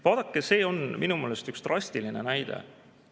Vaadake, see on minu meelest üks drastiline näide.